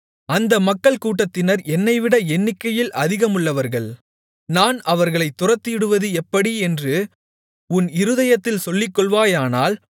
அந்த மக்கள்கூட்டத்தினர் என்னைவிட எண்ணிக்கையில் அதிகமுள்ளவர்கள் நான் அவர்களைத் துரத்திவிடுவது எப்படி என்று உன் இருதயத்தில் சொல்லிக்கொள்வாயானால்